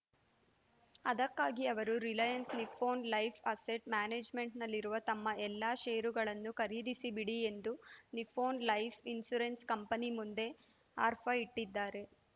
ಅದಕ್ಕಾಗಿ ಅವರು Reliance Nippon Life Asset ಮ್ಯಾನೇಜ್‌ಮೆಂಟ್‌ನಲ್ಲಿರುವ ತಮ್ಮ ಎಲ್ಲ ಷೇರುಗಳನ್ನೂ ಖರೀದಿಸಿಬಿಡಿ ಎಂದು ನಿಪ್ಪೊನ್‌ ಲೈಫ್‌ ಇನ್ಶೂರೆನ್ಸ್‌ ಕಂಪನಿ ಮುಂದೆ ಆರ್ಫಾ ಇಟ್ಟಿದ್ದಾರೆ